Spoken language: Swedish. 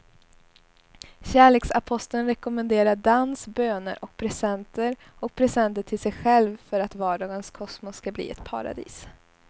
Kärleksaposteln rekommenderar dans, böner och presenter och presenter till sig själv för att vardagens kosmos ska bli ett paradis.